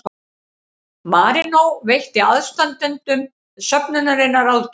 Marínó veitti aðstandendum söfnunarinnar ráðgjöf